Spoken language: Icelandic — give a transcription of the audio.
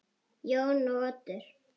Jón og Oddur.